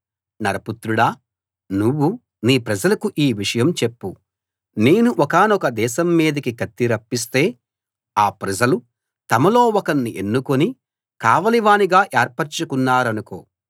నరపుత్రుడా నువ్వు నీ ప్రజలకు ఈ విషయం చెప్పు నేను ఒకానొక దేశం మీదికి కత్తి రప్పిస్తే ఆ ప్రజలు తమలో ఒకణ్ణి ఎన్నుకుని కావలివానిగా ఏర్పరచుకున్నారనుకో